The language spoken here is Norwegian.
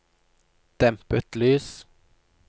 dempet lys